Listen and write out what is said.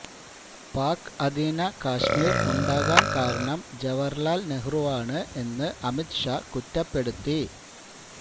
പാക് അധീന കാശ്മീര് ഉണ്ടാകാന് കാരണം ജവഹര്ലാല് നെഹ്രുവാണ് എന്ന് അമിത് ഷാ കുറ്റപ്പെടുത്തി